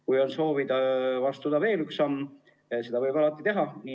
Kui on soov astuda veel üks samm, siis seda võib alati teha.